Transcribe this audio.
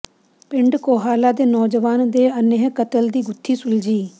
ਪਿੰਡ ਕੋਹਾਲਾ ਦੇ ਨੌਜਵਾਨ ਦੇ ਅੰਨੇ੍ਹ ਕਤਲ ਦੀ ਗੁੱਥੀ ਸੁਲਝੀ